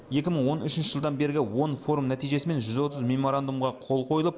екі мың он үшінші жылдан бергі он форум нәтижесімен жүз отыз меморандумға қол қойылып